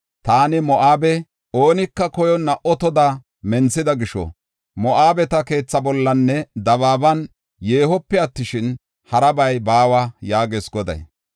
Taani Moo7abe oonika koyonna otoda menthida gisho, Moo7abeta keethaa bollaninne dabaaban yeehope attishin, harabay baawa” yaagees Goday.